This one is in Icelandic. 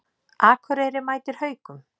Akureyri mætir Haukum